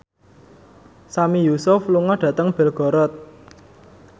Sami Yusuf lunga dhateng Belgorod